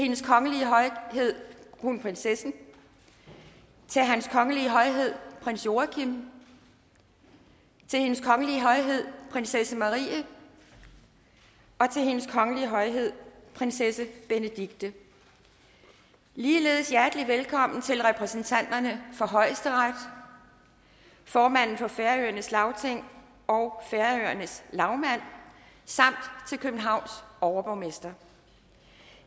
hendes kongelige højhed kronprinsessen til hans kongelige højhed prins joachim til hendes kongelige højhed prinsesse marie og til hendes kongelige højhed prinsesse benedikte ligeledes hjertelig velkommen til repræsentanterne for højesteret formanden for færøernes lagting og færøernes lagmand samt til københavns overborgmester